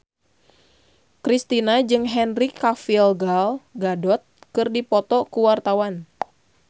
Kristina jeung Henry Cavill Gal Gadot keur dipoto ku wartawan